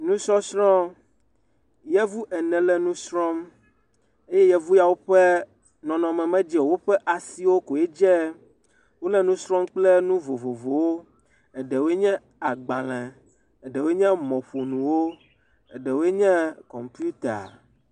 Nusɔsrɔ̃, yevu ene le nu srɔ̃m, eye yevu ya wo ƒenɔnɔmewo medze o, woƒe asiwo koe dze, wole nu srɔ̃m kple nu vovovowo, eɖewoe nye agbalẽ, eɖewoe nye mɔƒonuwo, eɖewoe nye kɔmpita.